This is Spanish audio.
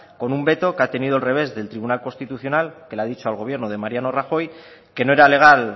con un veto que ha tenido el revés del tribunal constitucional que le ha dicho al gobierno de mariano rajoy que no era legal